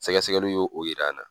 Sɛgɛsɛgɛliw ye o yira an na.